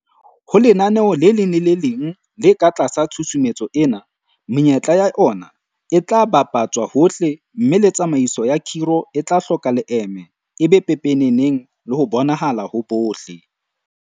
Ho lenaneo le leng le le leng le ka tlasa tshusumetso ena, menyetla ya ona e tla bapa tswa hohle mme le tsamaiso ya khiro e tla hloka leeme, e be pepeneneng le ho bonahala ho bohle.